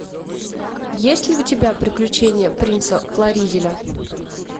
есть ли у тебя приключения принца флоризеля